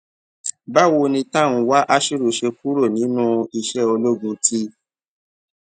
báwo ni tanwa ashiru ṣe kúrò nínú iṣẹ ológun ti